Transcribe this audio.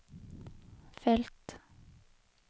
felt